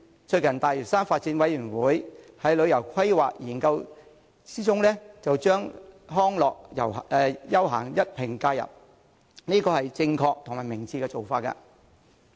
最近，大嶼山發展諮詢委員會在旅遊規劃研究中一併加入康樂休閒，這是正確和明智的做法。